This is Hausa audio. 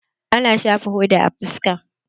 Ana shafan hoda a fuska.